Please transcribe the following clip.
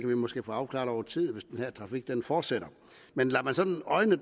vi måske få afklaret over tid hvis den her trafik fortsætter men lader man sådan øjnene